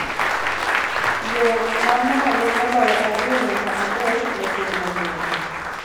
yo ma malo moloyo ariyo nyaka adek ne piny mangima.